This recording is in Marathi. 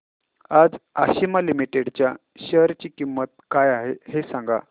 आज आशिमा लिमिटेड च्या शेअर ची किंमत काय आहे हे सांगा